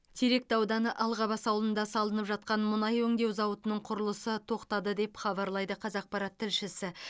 теректі ауданы алғабас ауылында салынып жатқан мұнай өңдеу зауытының құрылысы тоқтады деп хабарлайды қазақпарат тілшісі